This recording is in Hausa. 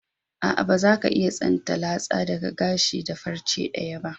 Aa, ba za ka iya tsinta latsa daga gashi da farce daya ba.